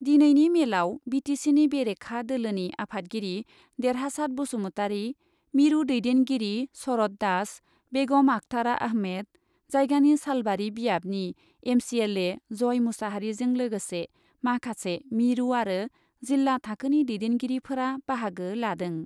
दिनैनि मेलआव B T सिनि बेरेखा दोलोनि आफादगिरि देरहासात बसुमतारि, मिरु दैदेनगिरि शरत दास, बेगम आखतारा आहमेद, जायगानि सालबारि बियाबनि M C L A Joy मुसाहारिजों लोगोसे माखासे मिरु आरो जिल्ला थाखोनि दैदेनगिरिफोरा बाहागो लादों।